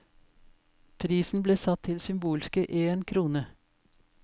Prisen ble satt til symbolske én krone.